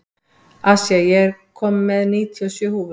Asía, ég kom með níutíu og sjö húfur!